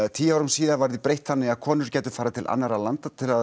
tíu árum síðar var því breytt þannig að konur gætu farið til annarra landa til að